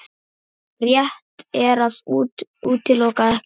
Rétt er að útiloka ekkert